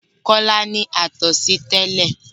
Kọ́lá ní àtọ̀sí tẹ́lẹ̀.